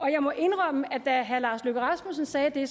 jeg må indrømme at da herre lars løkke rasmussen sagde det